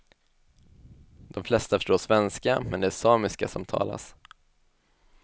De flesta förstår svenska, men det är samiska som talas.